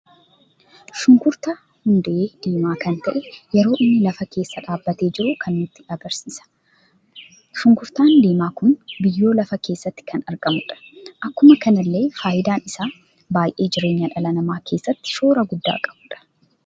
Shunkurtaa hundee diimaa kan ta'ee yeroo inni lafa keessa dhaabbate jiru kan nutti agarsiisa. shunkurtaan diimaan kun biyyoo lafa keessatti kan argamudha. Akkuma kanallee faayidaan isaa baay'ee jireenya dhala nama keessatti shoora gudda qabudha.